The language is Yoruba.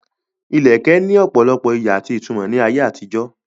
Ìlẹ̀kẹ̀ ní ọ̀pọ̀lọpọ̀ ìyí àti ìtumọ̀ ní ayé àtijó.